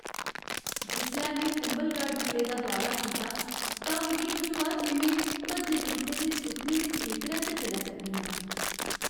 जिसलै में कुंभलगढ़ किले दा दौरा कीता तां मिगी बझोआ जे में भज्जे त्रुट्टे दे सुखनें दे खेतरै च चलै करनी आं।